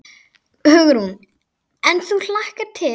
Hugrún: En þú hlakkar til?